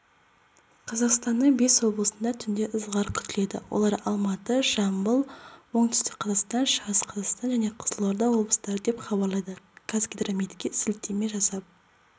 қазақстанның бес облысында түнде ызғар күтіледі олар алматы жамбыл оңтүстік қазақстан шығыс қазақстан және қызылорда облыстары деп хабарлайды қазгидрометке сілтеме жасап